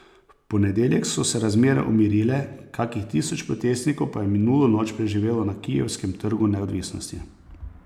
V ponedeljek so se razmere umirile, kakih tisoč protestnikov pa je minulo noč preživelo na kijevskem Trgu neodvisnosti.